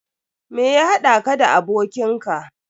Me ya haɗa ka da abokin ka?